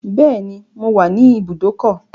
Beni, mo wà ní ìbùdókọ̀.